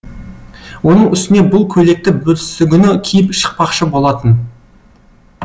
оның үстіне бұл көйлекті бүрсігүні киіп шықпақшы болатын